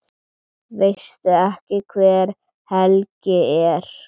Veistu ekki hver Helgi er?